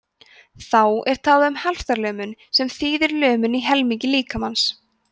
þá er talað um helftarlömun sem þýðir lömun í helming líkamans